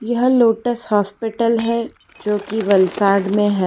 यह Lotus Hospital है जोकि वलसाड में है।